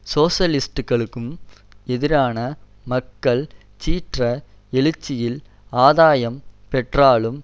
சோசலிஸ்ட்டுக்களும் எதிரான மக்கள் சீற்ற எழுச்சியில் ஆதாயம் பெற்றாலும்